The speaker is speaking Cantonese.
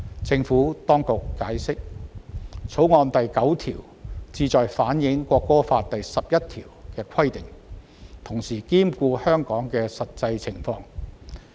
政府當局解釋，《條例草案》第9條旨在反映《國歌法》第十一條的規定，同時兼顧香港的實際情況。